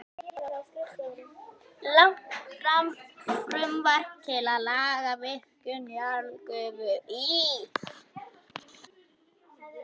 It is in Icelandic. Lagt fram frumvarp til laga um virkjun jarðgufu í